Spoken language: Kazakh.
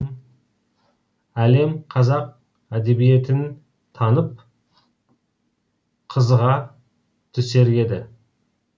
әлем қазақ әдебиетін танып қызыға түсер еді